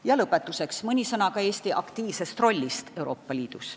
Ja lõpetuseks mõni sõna ka Eesti aktiivsest rollist Euroopa Liidus.